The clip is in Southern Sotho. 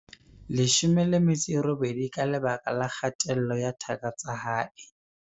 18 ka lebaka la kgatello ya thaka tsa hae.